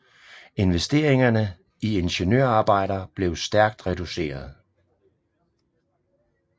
Investeringerne i ingeniørarbejder blev stærkt reduceret